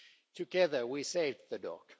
Together we saved the